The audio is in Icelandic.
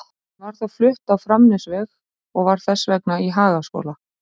Hún var þó flutt á Framnesveg og var þess vegna í Hagaskóla.